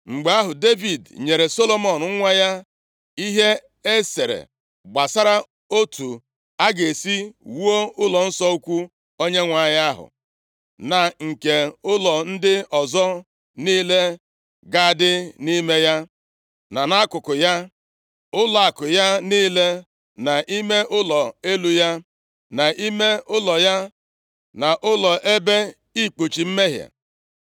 Mgbe ahụ, Devid nyere Solomọn nwa ya ihe e sere gbasara otu ọ ga-esi wuo ụlọnsọ ukwu Onyenwe anyị ahụ, na nke ụlọ ndị ọzọ niile ga-adị nʼime ya, na nʼakụkụ ya; ụlọakụ ya niile, na ime ụlọ elu ya, na ime ụlọ ya, na ụlọ ebe ikpuchi mmehie.